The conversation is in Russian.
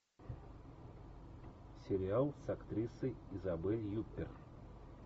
сериал с актрисой изабель юппер